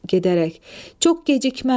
Çox gecikməm.